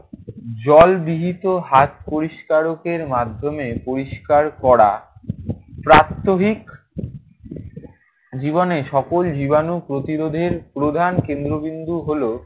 জলবিহীত হাত পরিষ্কারকের মাধ্যমে পরিষ্কার করা প্রাত্যহিক জীবনে সকল জীবাণু প্রতিরোধের প্রধান কেন্দ্রবিন্দু হলো